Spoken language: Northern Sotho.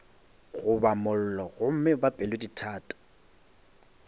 goba mollo gomme ba pelodithata